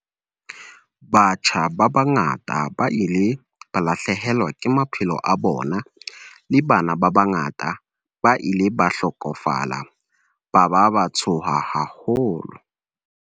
Batjha ba bangata ba ile ba lahlehelwa ke maphelo a bona, le bana ba bangata ba ile ba hlokofala ba ba ba tshoha haholo.